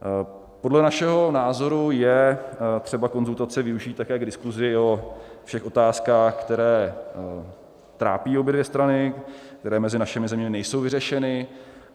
Podle našeho názoru je třeba konzultace využít také k diskusi o všech otázkách, které trápí obě dvě strany, které mezi našimi zeměmi nejsou vyřešeny.